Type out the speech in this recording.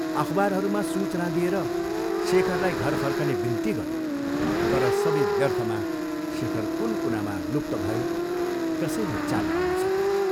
अखबारहरूमा सूचना दिएर शेखरलाई घर फर्कने बिन्ती गऱ्यो तर सबै व्यर्थमा शेखर कुन कुनामा लुप्त भयो, कसैले चाल पाउन सकेन।